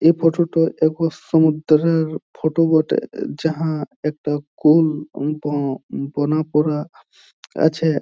এই ফোটো টোয় এক সমুদ্রের ফটো বটে। যাহা একটা কুল মত বোনা পরা আছে।